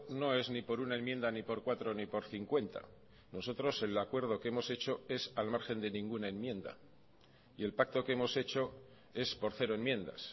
no es ni por una enmienda ni por cuatro ni por cincuenta nosotros el acuerdo que hemos hecho es al margen de ninguna enmienda y el pacto que hemos hecho es por cero enmiendas